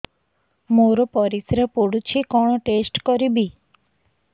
ମୋର ପରିସ୍ରା ପୋଡୁଛି କଣ ଟେଷ୍ଟ କରିବି